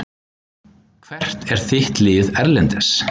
Hvert er þitt lið erlendis?